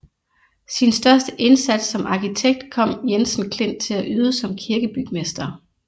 Sin største indsats som arkitekt kom Jensen Klint til at yde som kirkebygmester